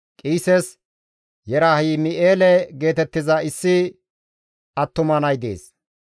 Qiises Yerahim7eele geetettiza issi attuma nay dees.